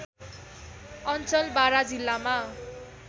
अञ्चल बारा जिल्लामा